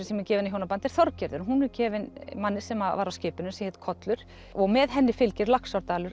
sem er gefin í hjónaband er Þorgerður hún er gefin manni sem var á skipinu sem hét kollur og með henni fylgir Laxárdalur